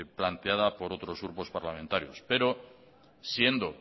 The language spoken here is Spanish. planteada por otros grupos parlamentarios pero siendo